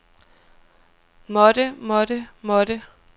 måtte måtte måtte